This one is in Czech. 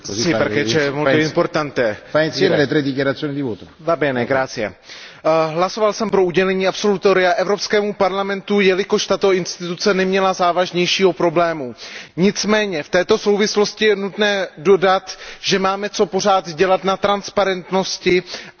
Pane předsedající, hlasoval jsem pro udělení absolutoria Evropskému parlamentu, jelikož tato instituce neměla závažnější problémy. Nicméně v této souvislosti je nutné dodat, že máme pořád co dělat v oblasti transparentnosti a zlepšení vnitřního chodu